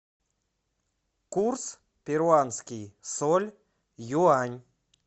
курс перуанский соль юань